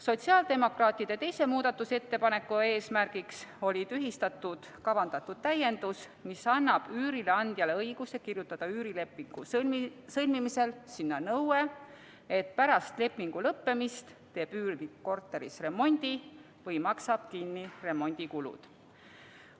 Sotsiaaldemokraatide teise muudatusettepaneku eesmärk oli tühistada kavandatud täiendus, mis annab üürileandjale õiguse kirjutada üürilepingu sõlmimisel sinna nõue, et pärast lepingu lõppemist teeb üürnik korteris remondi või maksab kinni remondikulud.